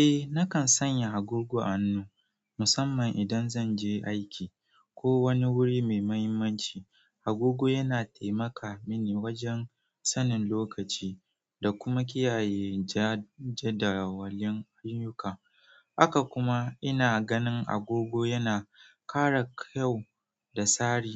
Eh, nakan sanya agogo a hannu musamman idan zan je aiki ko wani wuri mai muhimmanci. Agogo yana taimaka mini wajen sanin lokaci da kuma kiyaye jadawalin ayyuka. Haka kuma ina ganin agogo yana ƙara kyau da sari